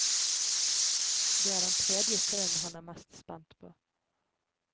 Det er den tredje sønnen han er mest spent på.